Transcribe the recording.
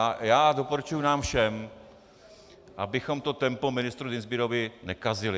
A já doporučuji nám všem, abychom to tempo ministru Dienstbierovi nekazili.